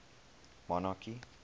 monarchy